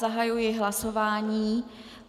Zahajuji hlasování.